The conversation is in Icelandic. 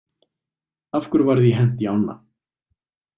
Af hverju var því hent í ána?